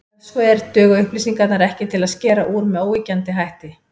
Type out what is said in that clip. Ef svo er, duga upplýsingarnar ekki til að skera úr með óyggjandi hætti.